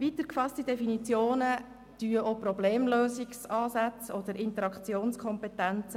Weiter gefasste Definitionen berücksichtigen auch Problemlösungsansätze oder Interaktionskompetenzen.